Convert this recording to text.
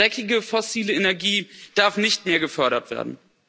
Dreckige fossile Energie darf nicht mehr gefördert werden.